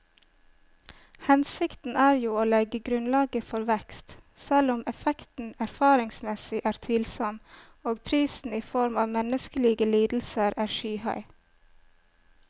Hensikten er jo å legge grunnlaget for vekst, selv om effekten erfaringsmessig er tvilsom og prisen i form av menneskelige lidelser er skyhøy.